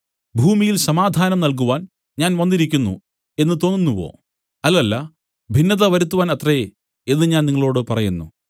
ഭൂമിയിൽ സമാധാനം നല്കുവാൻ ഞാൻ വന്നിരിക്കുന്നു എന്നു തോന്നുന്നുവോ അല്ലല്ല ഭിന്നത വരുത്തുവാൻ അത്രേ എന്നു ഞാൻ നിങ്ങളോടു പറയുന്നു